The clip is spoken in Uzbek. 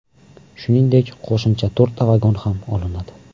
Shuningdek, qo‘shimcha to‘rtta vagon ham olinadi.